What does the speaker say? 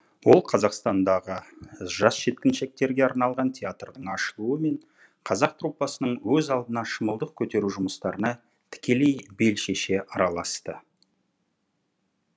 ол қазақстандағы жас жеткіншектерге арналған театрдың ашылуы мен қазақ труппасының өз алдына шымылдық көтеру жұмыстарына тікелей бел шеше араласты